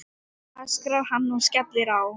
öskrar hann og skellir á.